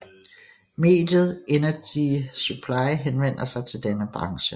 Mediet Energy Supply henvender sig til denne branche